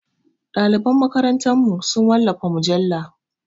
Ɗaliban makarantarmu su wallafa mujalla.